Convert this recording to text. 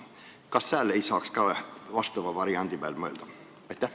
Kas sääl ei saaks ka vastava variandi peale mõelda?